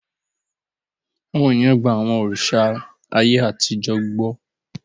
Àwọn ènìyàn gba àwọn òrìṣà ayé àtijọ́ gbọ́.